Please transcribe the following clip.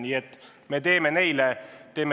Nii et me teeme neile teene.